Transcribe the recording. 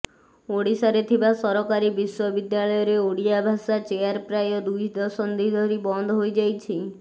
ଓଡିଶାରେ ଥିବା ସରକାରୀ ବିଶ୍ୱ ବିଦ୍ୟାଳୟରେ ଓଡିଆ ଭାଷା ଚେୟାର ପ୍ରାୟ ଦୁଇ ଦଶନ୍ଧୀ ଧରି ବନ୍ଦ ହୋଇଯାଇଛି